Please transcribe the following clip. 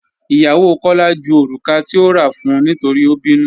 Ìyàwó Kọla jú orúkà tí ò rà fún nítorí o bínú.